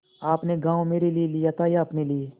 आपने गॉँव मेरे लिये लिया था या अपने लिए